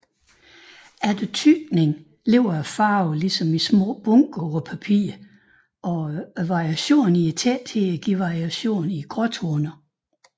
Efter tykning ligger farven ligesom i små bunker på papiret og variationen i tætheden giver variationen i gråtoner